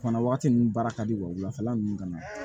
O fana waati ninnu baara ka di wa wulafɛla ninnu ka na